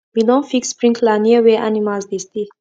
we don fix sprinkler near where animals dey stay